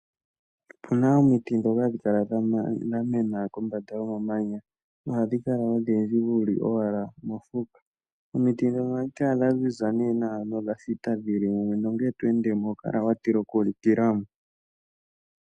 Opuna omiti dhoka hadhi kala dha mena kombanda yo mamanya na ohadhi kala odhindji wafa wuli owala mofuka. Omiti dhoka ohadhi kala ne dha ziza nawa nodha thita, dhili mumwe nuuna to endemo oho kala wa tila oku likilamo.